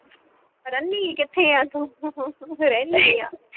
ਰਹਿਨੀ ਕਿੱਥੇ ਆ ਤੂੰ ਰਹਿਨੀ ਆ